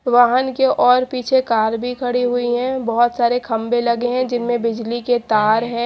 वाहन के और पीछे कार भी खड़ी हुई है बहोत सारे खंबे लगे हैं जिनमें बिजली के तार है।